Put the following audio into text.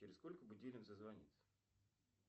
через сколько будильник зазвонит